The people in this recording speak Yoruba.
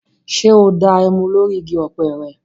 Ṣé o da ẹmu lórí igi ọ̀pẹ́ rẹ?